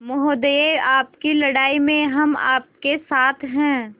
महोदय आपकी लड़ाई में हम आपके साथ हैं